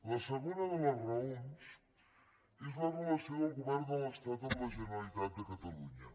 la segona de les raons és la relació del govern de l’estat amb la generalitat de catalunya